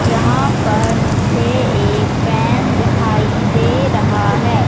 यहां पर मुझे एक पेन दिखाई दे रहा है।